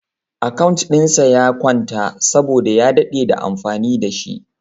Account dinsa ya kwanta saboda ya dade da amfani da shi.